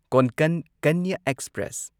Konkan Kanya express